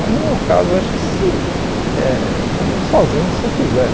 Mas no meu caso, acho que se eh... Eu fico sozinho se eu quiser.